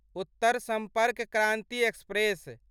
Uttar Sampark Kranti express